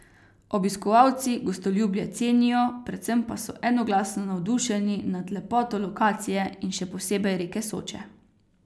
Obiskovalci gostoljubje cenijo, predvsem pa so enoglasno navdušeni nad lepoto lokacije in še posebej reke Soče.